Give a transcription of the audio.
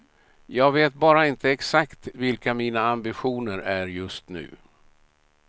Jag vet bara inte exakt vilka mina ambitioner är just nu.